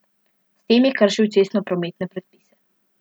S tem je kršil cestnoprometne predpise.